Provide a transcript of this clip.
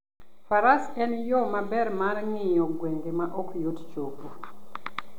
Faras en yo maber mar ng'iyo gwenge ma ok yot chopoe.